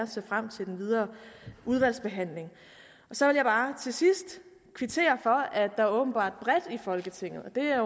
ser frem til den videre udvalgsbehandling så vil jeg bare til sidst kvittere for at der åbenbart bredt i folketinget